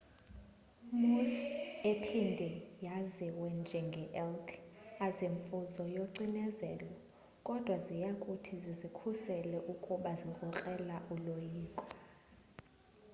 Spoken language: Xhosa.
moose ephinde yaziwe njenge elk azimfuzo yocinezelo kodwa ziyakuthi zizikhusele ukuba zikrokrela uloyikiso